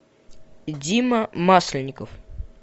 дима масленников